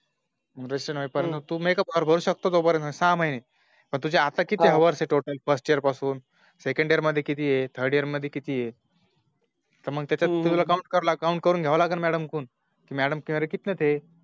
Registration होईपर्यंत हम्म तू make up hour भरू शकतो सहा महिने हम्म पण तुझे आता किती Hours आहे First year पासून Second year मध्ये किती आहे Third year मध्ये किती आहे मग त्याच्यात तुला Count करून घायव लगीन Madam कडून. Madamमेरे कितने थे